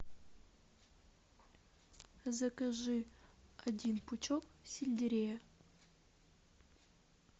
закажи один пучок сельдерея